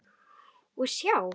Og sjá!